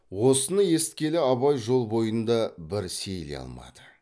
осыны есіткелі абай жол бойында бір сейіле алмады